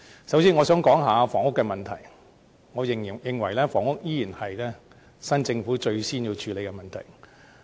首先，我想談談房屋問題。我認為房屋依然是新政府最先需要處理的問題。